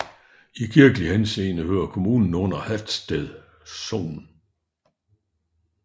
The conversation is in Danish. I kirkelig henseende hører kommunen under Hatsted Sogn